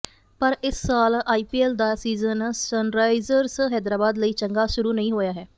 ਪਰ ਇਸ ਸਾਲ ਆਈਪੀਐਲ ਦਾ ਸੀਜ਼ਨ ਸਨਰਾਈਜ਼ਰਸ ਹੈਦਰਾਬਾਦ ਲਈ ਚੰਗਾ ਸ਼ੁਰੂ ਨਹੀਂ ਹੋਇਆ ਹੈ